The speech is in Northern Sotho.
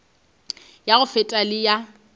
ya go feta le ya